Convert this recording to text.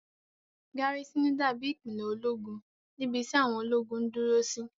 Gárísìnù dábí ìpìlẹ̀ ológun níbi tí àwọn ológun ń dúró sí